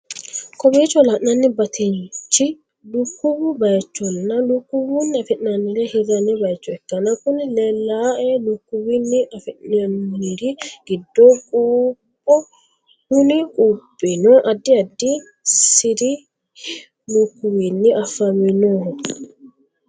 Kowicho lanani baatichi lukuwu bayichona lukuwinni afinanire hirani bayicho ikana kuni leleano lukuwinni afinonniri gido qupho kunni quphino adid adid Siri hi lukuwinni afaminoho.